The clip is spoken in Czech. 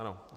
Ano.